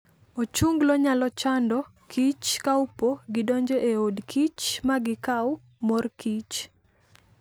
Ochunglo nyalo chando kich kaopo gidonjo e od kich magichao mor kich